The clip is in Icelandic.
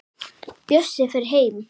Bjössi fer heim.